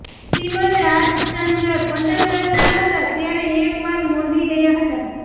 શ્રીમદ્ રાજચન્દ્ર પંદર વર્ષના હતા ત્યારે એક વાર મોરબી ગયા હતા